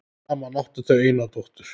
Saman áttu þau eina dóttur.